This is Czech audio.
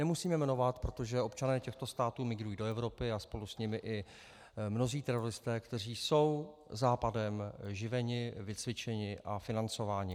Nemusíme jmenovat, protože občané těchto států migrují do Evropy a spolu s nimi i mnozí teroristé, kteří jsou Západem živeni, vycvičeni a financováni.